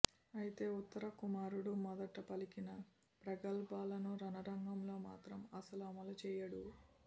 అయితే ఉత్తర కుమారుడు మొదట పలికిన ప్రగల్భాలను రణరంగంలో మాత్రం అస్సలు అమలు చేయడు